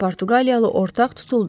Portuqaliyalı ortaq tutuldu.